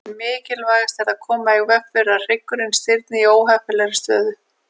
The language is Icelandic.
Mikilvægast er að koma í veg fyrir að hryggurinn stirðni í óheppilegri stöðu.